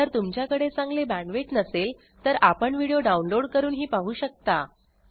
जर तुमच्याकडे चांगली बॅण्डविड्थ नसेल तर आपण व्हिडिओ डाउनलोड करूनही पाहू शकता